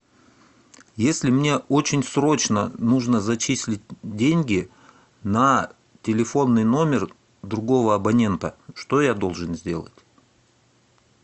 если мне очень срочно нужно зачислить деньги на телефонный номер другого абонента что я должен сделать